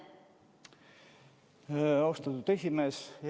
Austatud esimees!